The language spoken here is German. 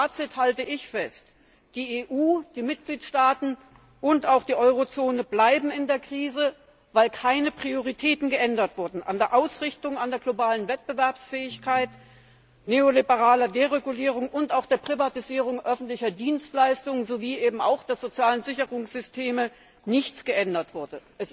Als Fazit halte ich fest Die EU, die Mitgliedstaaten und auch die Eurozone bleiben in der Krise, weil keine Prioritäten geändert wurden, weil an der Ausrichtung an der globalen Wettbewerbsfähigkeit, der neoliberalen Deregulierung und der Privatisierung öffentlicher Dienstleistungen und der sozialen Sicherungssysteme nichts geändert wurde.